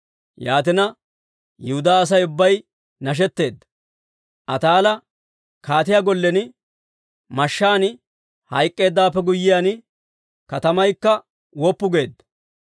Yaatina Yihudaa Asay ubbay nashetteedda. Ataala kaatiyaa gollen mashshaan hayk'k'eeddawaappe guyyiyaan, katamaykka woppu geedda.